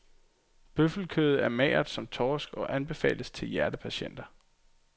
Bøffelkødet er magert som torsk og anbefales til hjertepatienter.